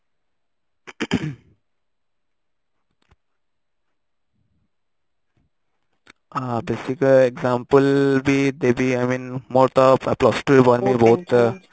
ହଁ basic example ବି ଯଦି i mean ମୋର ତ plus two ରେ ମାନେ ମୁଁ ବହୁତ